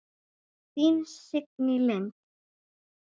Þín, Signý Lind.